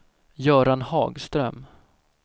Göran Hagström